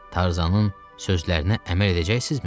Tarzanın sözlərinə əməl edəcəksizmi?